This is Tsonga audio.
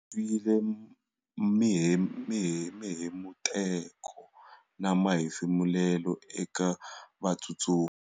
Twile mihemuteko na mahefumulelo eka vatsutsumi.